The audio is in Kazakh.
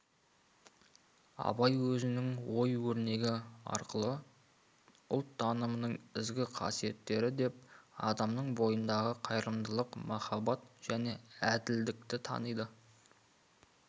абай осы өзінің ой өрнегі арқылы ұлт танымының ізгі қасиеттері деп адамның бойындағы қайырымдылық махаббат және әділдікті таниды